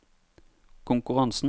konkurransen